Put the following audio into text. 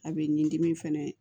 A bɛ ni dimi fɛnɛ ye